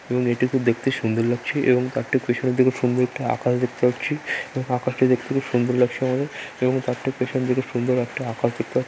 এবং এটি খুব দেখতে সুন্দর লাগছে এবং তার ঠিক পিছনের দিকে সুন্দর একটি আকাশ দেখতে পাচ্ছি | এবং আকাশটি দেখতে খুব সুন্দর লাগছে আমাদের এবং তার ঠিক পেছন দিকে সুন্দর একটি আকাশ দেখতে পাচ্ছি |